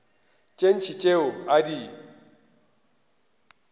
tše ntši tšeo a di